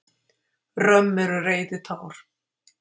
Römm eru reiðitár.